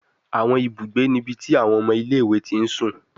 Awọn ibugbe ni ibi ti awọn ọmọ ile-iwe ti sun